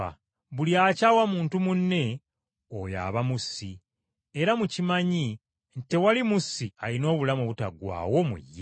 Buli akyawa muntu munne, oyo aba mussi, era mukimanyi nti tewali mussi alina obulamu obutaggwaawo mu ye.